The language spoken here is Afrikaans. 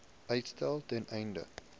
uitstel ten einde